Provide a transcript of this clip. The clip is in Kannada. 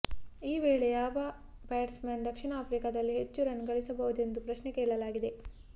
ಈ ವೇಳೆ ಯಾವ ಬ್ಯಾಟ್ಸ್ ಮನ್ ದಕ್ಷಿಣ ಆಫ್ರಿಕಾದಲ್ಲಿ ಹೆಚ್ಚು ರನ್ ಗಳಿಸಬಹುದೆಂದು ಪ್ರಶ್ನೆ ಕೇಳಲಾಗಿದೆ